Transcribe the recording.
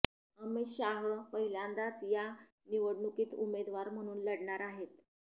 अमित शाह पहिल्यांदाच या निवडणूकीत उमेदवार म्हणून लढणार आहेत